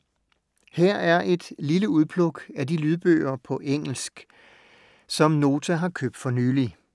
Her er et lille udpluk af de lydbøger på engelsk, som Nota har købt for nylig.